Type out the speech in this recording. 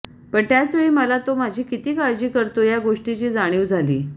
पण त्याचवेळी मला तो माझी किती काळजी करतो या गोष्टीची जाणीव झाली